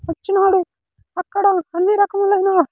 వచ్చినాడు అక్కడ అన్ని రకములైన .]